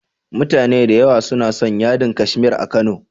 Mutane da yawa suna son yadin Kashmir a Kano.